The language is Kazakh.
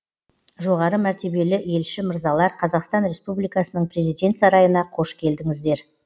жоғары мәртебелі елші мырзалар қазақстан республикасының президент сарайына қош келдіңіздер